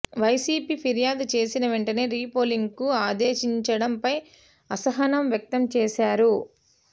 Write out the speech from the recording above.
YCP ఫిర్యాదు చేసిన వెంటనే రీపోలింగ్కు ఆదేశించడంపై అసహనం వ్యక్తం చేశారు